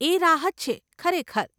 એ રાહત છે, ખરેખર.